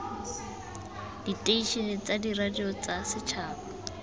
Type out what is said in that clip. diteišene tsa diradio tsa setšhaba